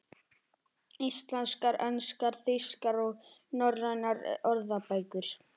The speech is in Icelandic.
Íslenskar, enskar, þýskar og norrænar orðabækur.